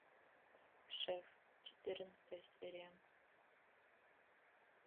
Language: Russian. шеф четырнадцатая серия